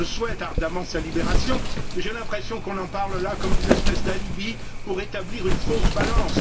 Je souhaite ardemment sa libération, mais j'ai l'impression qu'on en parle comme d'une espèce d'alibi pour rétablir une fausse balance.